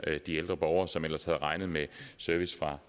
de ældre borgere som ellers havde regnet med service fra